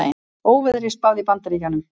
Óveðri spáð í Bandaríkjunum